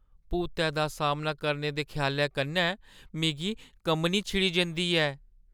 भूतै दा सामना करने दे ख्यालै कन्नै मिगी कम्मनी छिड़ी जंदी ऐ।